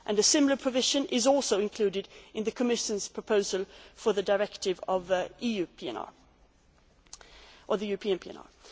A similar provision is also included in the Commission's proposal for the directive on the European